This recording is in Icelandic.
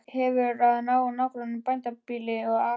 Hefur að nágrönnum bændabýli og akra.